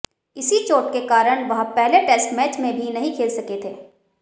इसी चोट के कारण वह पहले टेस्ट मैच में भी नहीं खेल सके थे